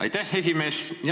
Aitäh, esimees!